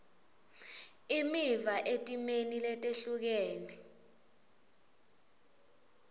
imiva etimeni letehlukene